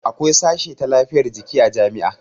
Akwai sashe ta lafiyar jiki a jami'a